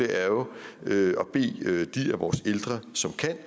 er jo at bede de af vores ældre som kan